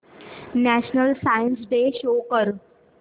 national science day show कर